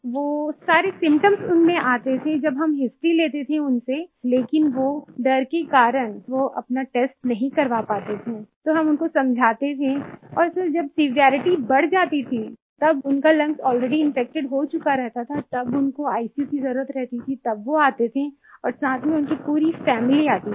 वो सारे सिम्पटम्स उनमें आते थे जब हम हिस्टोरी लेते थे उनसे लेकिन वो डर के कारण वो अपना टेस्ट नहीं करवा पाते थे तो हम उनको समझाते थे और सर जब सेवेरिटी बढ़ जाती थी तब उनका लंग्स अलरेडी इन्फेक्टेड हो चुका रहता था तब उनको आईसीयू की जरुरत रहती थी तब वो आते थे और साथ में उनकी पूरी फैमिली आती थी